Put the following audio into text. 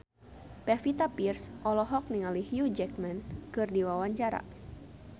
Pevita Pearce olohok ningali Hugh Jackman keur diwawancara